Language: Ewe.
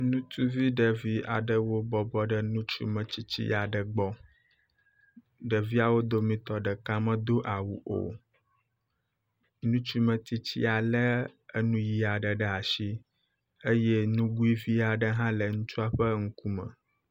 Ŋutsuvi ɖevi aɖewo bɔbɔ nɔ ŋutsu metsitsi aɖe gbɔ. Ɖeviawo dometɔ ɖeka medo awu o. Ŋutsu metsitsia lé enu ʋi aɖe ɖe asi eye nugui vi aɖe hã le ŋutsua ŋkume.